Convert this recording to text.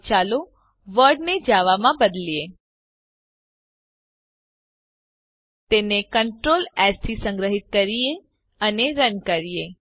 હવે ચાલો વર્લ્ડ ને જાવા માં બદલીએ તેને Ctrl એસ થી સંગ્રહીત કરીએ અને રન કરીએ